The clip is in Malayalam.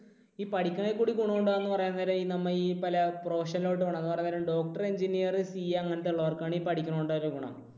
ഈ പഠിക്കുന്നതിൽ കൂടി ഗുണമുണ്ടാകും എന്ന് പറയാൻ നേരം ഈ നമ്മൾ ഈ പല profession ലോട്ട് പോണം എന്നു പറയാണ് നേരം doctor, engineer, CA അങ്ങനത്തെ ഉള്ളവർക്ക് ആണ് ഈ പഠിക്കുന്നത് കൊണ്ടുള്ള ഗുണം.